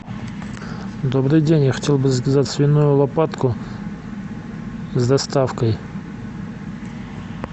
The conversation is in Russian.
добрый день я хотел бы заказать свиную лопатку с доставкой